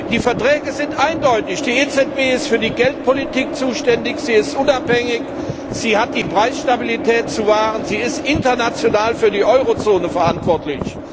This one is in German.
Die Verträge sind eindeutig Die EZB ist für die Geldpolitik zuständig, sie ist unabhängig, sie hat die Preisstabilität zu wahren, sie ist international für die Eurozone verantwortlich.